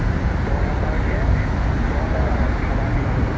দহ হেজাৰ কে দহ হেজাৰক ভাবা কিমান হʼল।